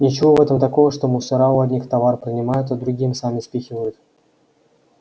ничего в этом такого что мусора у одних товар принимают а другим сами спихивают